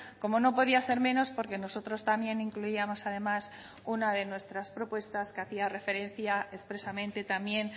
como no podía ser menos porque nosotros también incluíamos además una de nuestras propuestas que hacía referencia expresamente también